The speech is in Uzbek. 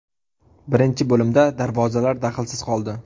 Birinchi bo‘limda darvozalar daxlsiz qoldi.